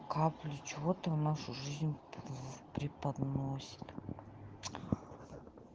капли че ты в нашу жизнь в преподносит